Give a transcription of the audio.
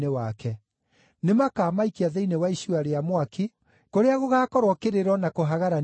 Nĩmakamaikia thĩinĩ wa icua rĩa mwaki, kũrĩa gũgaakorwo kĩrĩro na kũhagarania magego.